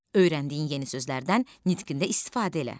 Öyrəndiyin yeni sözlərdən nitqində istifadə elə.